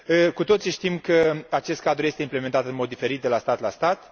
Cu toții știm că acest cadru este implementat în mod diferit de la stat la stat.